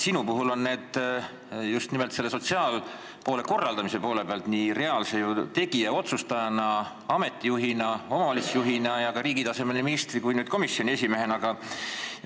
Sinul on neid kogemusi just nimelt sotsiaalpoole korraldamise poole pealt reaalse tegija, otsustaja, ameti juhi ja omavalitsuse juhina ning ka riigi tasemel nii ministri kui nüüd ka komisjoni esimehena.